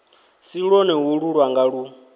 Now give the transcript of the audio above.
si lwone holu lwanga lu